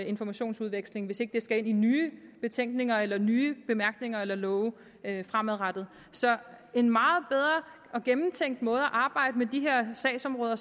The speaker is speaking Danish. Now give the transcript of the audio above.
informationsudveksling hvis ikke det skal ind i nye betænkninger eller nye bemærkninger eller love fremadrettet så en meget bedre og gennemtænkt måde at arbejde med de her sagsområder